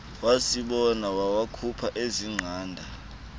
asibone wawakhupha azingqanda